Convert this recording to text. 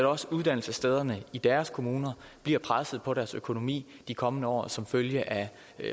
også uddannelsesstederne i deres kommuner bliver presset på deres økonomi i de kommende år som følge af